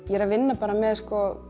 ég er að vinna með